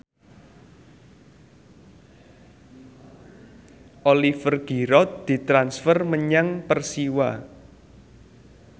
Oliver Giroud ditransfer menyang Persiwa